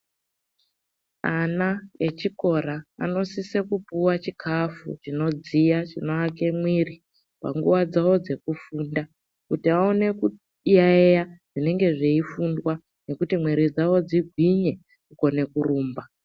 Ana echikora anosise kupuwa chikafu chinodziya, chinoake mwiri panguwa dzawo dzekufunda kuti aone kuyaiya zvinenge zveifundwa nekuti mwiri dzawo dzigwinye, kukone kurumba.